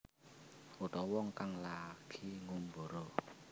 Utawa wong kang lagi ngumbara